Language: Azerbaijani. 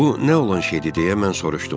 Bu nə olan şeydir deyə mən soruşdum.